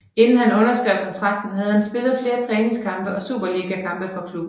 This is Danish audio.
Inden han underskrev kontrakten havde han spillet flere træningskampe og Superligakampe for klubben